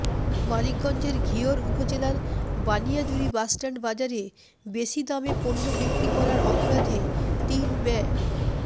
মানিকগঞ্জের ঘিওর উপজেলার বানিয়াজুরী বাসস্ট্যান্ড বাজারে বেশি দামে পণ্য বিক্রি করার অপরাধে তিন ব্য